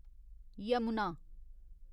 Yamuna